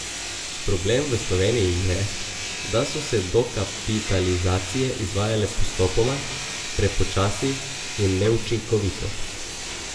Problem v Sloveniji je, da so se dokapitalizacije izvajale postopoma, prepočasi in neučinkovito.